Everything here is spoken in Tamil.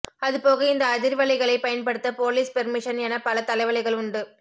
அது போக இந்த அதிர்வலைகளை பயன்படுத்த போலீஸ் பெர்மிஷன் என பல தலைவலிகள் உண்டு